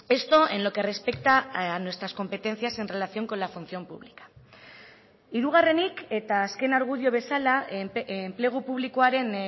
esto en lo que respecta a nuestras competencias en relación con la función pública hirugarrenik eta azken argudio bezala enplegu publikoaren